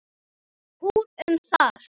Hún um það.